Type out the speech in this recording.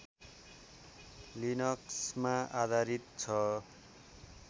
लिनक्समा आधारित छ